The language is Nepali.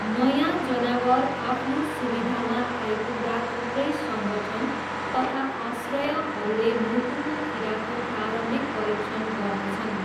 नयाँ जनावर आफ्नो सुविधामा आइपुग्दा थुप्रै संगठन तथा आश्रयहरूले मुटुको किराको प्रारम्भिक परीक्षण गर्नेछन्।